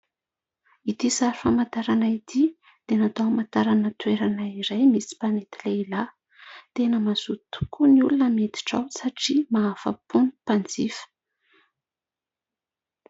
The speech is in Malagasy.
Ity sary famantarana ity, dia natao hamantarana toerana iray misy mpanety lehilahy. Tena mazoto tokoa ny olona miditra ao satria mahafa-po ny mpanjifa.